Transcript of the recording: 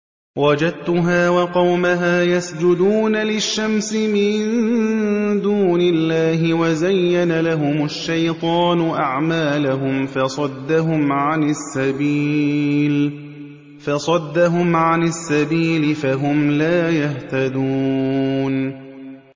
وَجَدتُّهَا وَقَوْمَهَا يَسْجُدُونَ لِلشَّمْسِ مِن دُونِ اللَّهِ وَزَيَّنَ لَهُمُ الشَّيْطَانُ أَعْمَالَهُمْ فَصَدَّهُمْ عَنِ السَّبِيلِ فَهُمْ لَا يَهْتَدُونَ